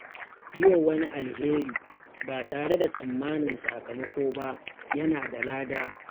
Yi wa wani alheri ba tare da tsammanin sakamako ba yana da lada.